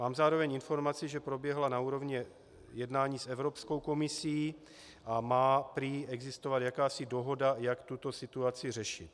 Mám zároveň informaci, že proběhla na úrovni jednání s Evropskou komisí a má prý existovat jakási dohoda, jak tuto situaci řešit.